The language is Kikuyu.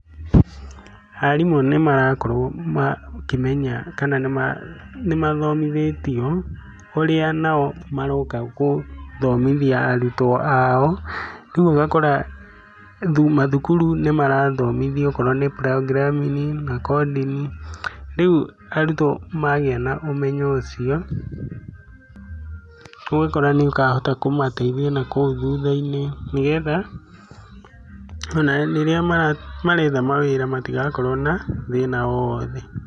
Arimũ nĩ marakorwo makĩmenya kana nĩ mathomithĩtio ũrĩa nao maroka gũthomithia arutwo ao rĩu ũgakora mathukuru nĩ marathomithio okorwo nĩ programming na coding. Rĩu arutwo magĩa na ũmenyo ũcio, ũgakora nĩ ũkahota kũmateithia nakũu thutha-ini nĩ getha, ona rĩrĩa maretha mawĩra matigakorwo na thĩna o wothe.